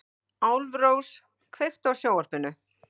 Álfrós, kveiktu á sjónvarpinu.